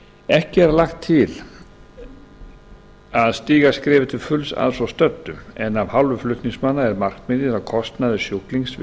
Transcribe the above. ekki er lagt til í að stíga skrefið til fulls að svo stöddu en af hálfu flutningsmanna er markmiðið að kostnaður sjúklings við